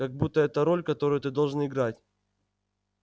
как будто это роль которую ты должен играть